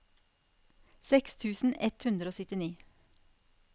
seks tusen ett hundre og syttini